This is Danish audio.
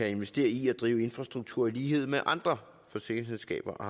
at investere i at drive infrastruktur i lighed med andre forsikringsselskaber og